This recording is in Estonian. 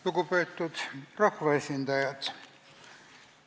Lugupeetud rahvaesindajad!